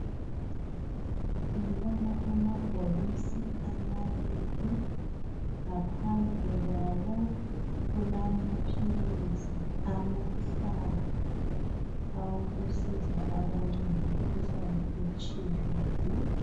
Ngibona amabhokisi amabili, ngaphandle kwawo kulamaphilisi amahlanu awokusiza abantu ngemikhuhlane etshiyeneyo.